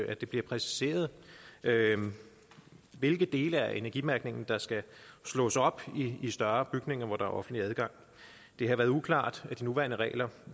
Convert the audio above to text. at det bliver præciseret hvilke dele af energimærkningen der skal slås op i større bygninger hvor der er offentlig adgang det har været uklart i de nuværende regler